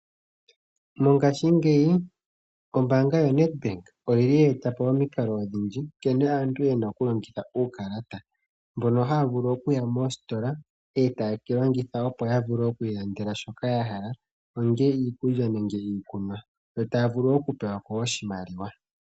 Mongashingeyi ombaanga yoNedbank oye etapo omikalo odhindji nkene aantu yena okulongitha uukalata. Mbono haya vulu okuya moositola etayewu longitha, opo yi ilandele shoka yahala. Ongele iikulya nenge iikunwa yo taya vulu wo okupewako oshimaliwa.